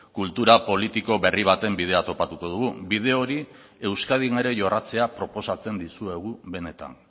kultura politiko berri baten bidea topatuko dugu bide hori euskadin ere jorratzea proposatzen dizuegu benetan